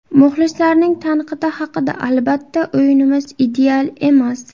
Muxlislarning tanqidi haqida Albatta, o‘yinimiz ideal emas.